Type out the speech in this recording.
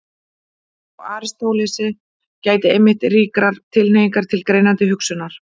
Hjá Aristótelesi gætir einmitt ríkrar tilhneigingar til greinandi hugsunar.